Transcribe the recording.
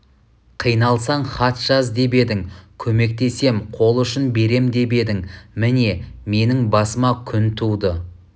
қиналсаң хат жаз деп едің көмектесем қол ұшын берем деп едің міне менің басыма күн туды